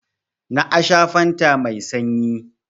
Na a sha fanta mai sanyi.